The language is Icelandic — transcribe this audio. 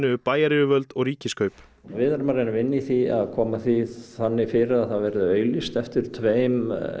við bæjaryfirvöld og Ríkiskaup við erum að reyna að vinna í því að koma því þannig fyrir að það verði auglýst eftir tveim